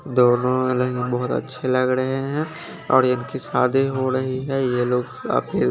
दोनों हालांकि बहुत अच्छे लग रहे हैं और इनकी शादी हो रही है ये लोग काफी--